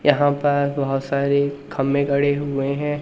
यहां पर बहोत सारी खम्मे ग़ड़े हुए हैं।